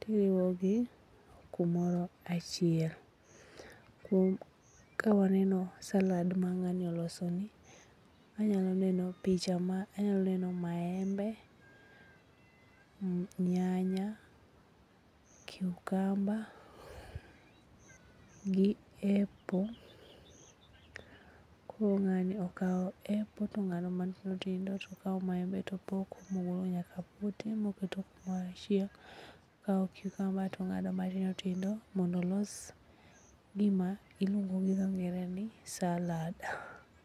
tiriwogi kumoro achiel. Kawaneno salad mang'ani olosoni, anyalo neno maembe, nyanya, cucumber gi apple. Koro ng'ani okawo apple tong'ado matindotindo tokawo maembe topoko mogolo nyaka pote moketo kumoro achiel, okawo cucumber tong'ado matindotindo mondo olos gima iluongo gi dho ngere ni salad.